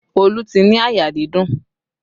Olu ti ní àyà dídùn